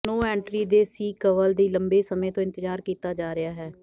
ਨੋ entry ਦੇ sequel ਦੀ ਲੰਬੇ ਸਮੇਂ ਤੋਂ ਇੰਤਜ਼ਾਰ ਕੀਤਾ ਜਾ ਰਿਹਾ ਹੈ